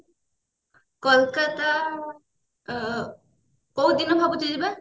କୋଲକତା ଆଁ କୋଉ ଦିନ ଭାବୁଛୁ ଯିବା